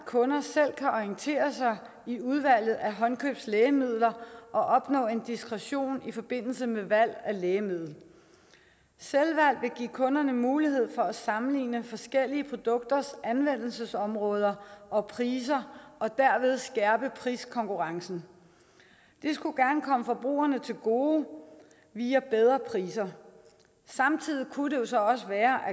kunder selv kan orientere sig i udvalget af håndkøbslægemidler og opnå en diskretion i forbindelse med valg af lægemiddel selvvalg vil give kunderne mulighed for at sammenligne forskellige produkters anvendelsesområder og priser og derved skærpe priskonkurrencen det skulle gerne komme forbrugerne til gode via bedre priser samtidig kunne det jo så også være